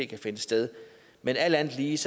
kan finde sted men alt andet lige